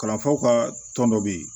Kalanfaw ka tɔn dɔ bɛ yen